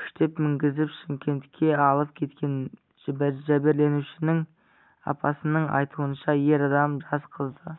күштеп мінгізіп шымкентке алып кеткен жәбірленушінің апасының айтуынша ер адам жас қызды